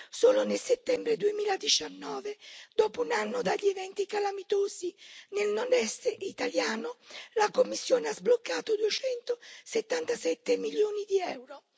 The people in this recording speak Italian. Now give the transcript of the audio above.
Solo nel settembre 2019, dopo un anno dagli eventi calamitosi nel Nord Est italiano, la Commissione ha sbloccato 277 milioni di euro.